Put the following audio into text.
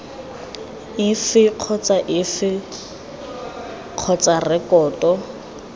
efe kgotsa efe kgotsa rekoto